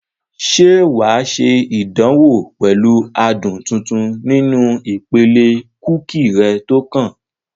Ṣé wà á ṣe ìdánwò pẹ̀lú adùn tuntun nínú ìpele kúkì rẹ tó kàn?